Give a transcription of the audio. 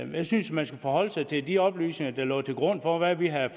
jeg synes man skulle forholde sig til de oplysninger der lå til grund for hvad vi havde